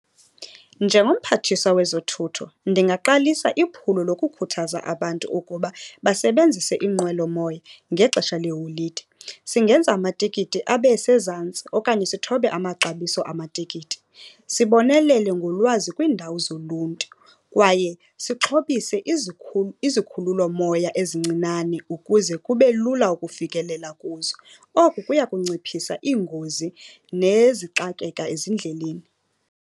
Njengomphathiswa wezothutho ndingaqalisa iphulo lokukhuthaza abantu ukuba basebenzise iinqwelomoya ngexesha leeholide. Singenza amatikiti abe sezantsi okanye sithobe amaxabiso amatikiti. Sibonelele ngolwazi kwiindawo zoluntu, kwaye sixhobise izikhululomoya ezincinane ukuze kube lula ukufikelela kuzo. Oku kuya kunciphisa iingozi nezixakeka ezindleleni.